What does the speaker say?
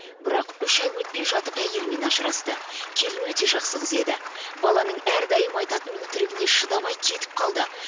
бірақ үш ай өтпей жатып әйелімен ажырасты келін өте жақсы қыз еді баланың әрдайым айтатын өтірігіне шыдамай кетіп қалды